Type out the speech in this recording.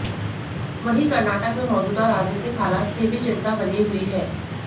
वहीं कर्नाटक में मौजूदा राजनीतिक हालात से भी चिंता बनी हुई है